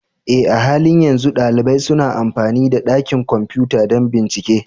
Eh, a halin yanzu ɗalibai suna amfani da dakin kwamfuta don bincike